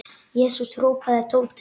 Jesús! hrópaði Tóti.